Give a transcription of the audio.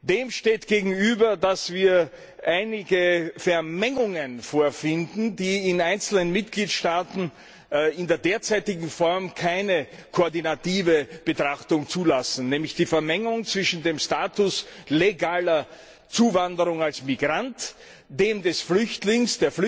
Dem steht gegenüber, dass wir einige Vermengungen vorfinden, die in einzelnen Mitgliedstaaten in der derzeitigen Form keine koordinative Betrachtung zulassen, nämlich die Vermengung zwischen dem Status der legalen Zuwanderung als Migrant, dem des Flüchtlings